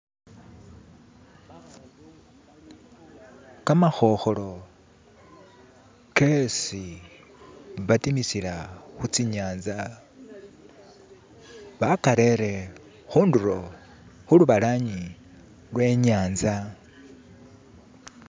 Kamakhokholo kesi batimisila khutsinyanza bakharele khundulo khulubalanyi lwanyanza